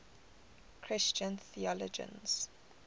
christian theologians